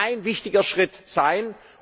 Aber es wird ein wichtiger Schritt sein.